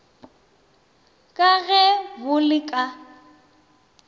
ka ge bo le ka